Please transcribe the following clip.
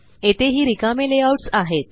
येथेही रिकामे लेआउट्स आहेत